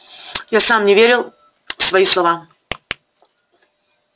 я и сам не верил в свои слова